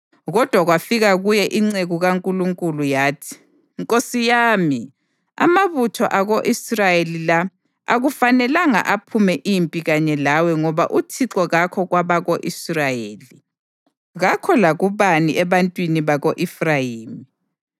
Kodwa kwafika kuye inceku kaNkulunkulu yathi: “Nkosi yami, amabutho ako-Israyeli la akufanelanga aphume impi kanye lawe ngoba uThixo kakho kwabako-Israyeli, kakho lakubani ebantwini bako-Efrayimi.